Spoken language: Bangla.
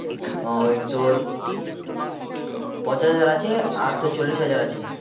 ওই তোর পঞ্চাশ হাজার আছে আর তোর চল্লিশ হাজার আছে।